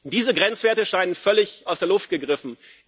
Diese Grenzwerte scheinen völlig aus der Luft gegriffen.